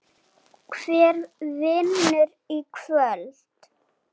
Hver vinnur í kvöld?